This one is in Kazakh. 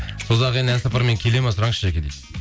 созақ еліне ән сапармен келеді ме сұраңызшы жаке дейді